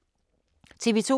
TV 2